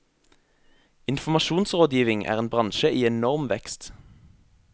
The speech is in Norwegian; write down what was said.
Informasjonsrådgivning er en bransje i enorm vekst.